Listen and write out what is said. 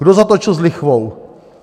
Kdo zatočil s lichvou?